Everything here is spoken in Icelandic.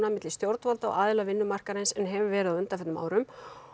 milli stjórnvalda og aðila vinnumarkaðarins en hefur verið á undanförnum árum